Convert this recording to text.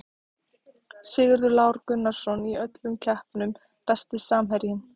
Sigurður Lár Gunnarsson í öllum keppnum Besti samherjinn?